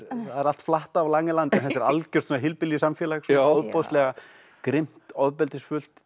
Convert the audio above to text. allt flatt á Langeland en þetta er algjört hillbilly samfélag ofboðslega grimmt ofbeldisfullt